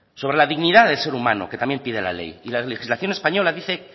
sobre la dignidad del ser humano que también pide la ley y la legislación española dice